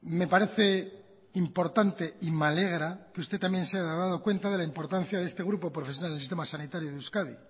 me parece importante y me alegra que usted también se haya dado cuenta de la importancia de este grupo profesional en el sistema sanitario de euskadi